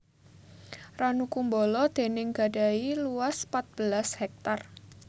Ranu Kumbolo déning gadhahi luas pat belas hektar